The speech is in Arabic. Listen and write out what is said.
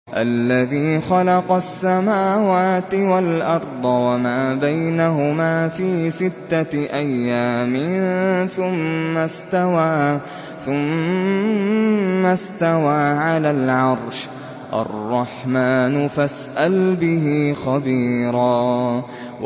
الَّذِي خَلَقَ السَّمَاوَاتِ وَالْأَرْضَ وَمَا بَيْنَهُمَا فِي سِتَّةِ أَيَّامٍ ثُمَّ اسْتَوَىٰ عَلَى الْعَرْشِ ۚ الرَّحْمَٰنُ فَاسْأَلْ بِهِ خَبِيرًا